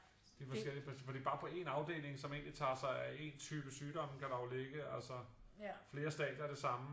Det forskelligt men selvfølgelig bare på en afdeling som egentligt tager sig af en type sygdom kan der jo ligge altså flere stadier af det samme